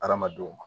Hadamadenw ma